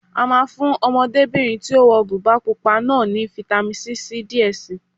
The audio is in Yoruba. A máa fún Ọmọdébìnrin tí ó wọ bùbá pupa náà ní fitamisi C díẹ̀ si